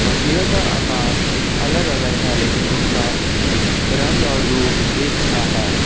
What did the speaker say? मछलियों का आकार अलग अलग है लेकिन उनका रंग और रूप एक सा है।